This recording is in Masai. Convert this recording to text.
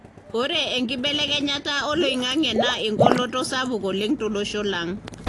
ore enkibelekenyata oloingange na engoloto sapuk oleng tolosho lang.